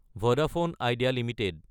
Vodafone IDEA Ltd